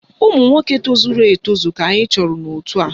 Ụmụnwoke tozuru etozu ka anyị chọrọ n'òtù a